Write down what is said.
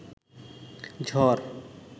ঝড়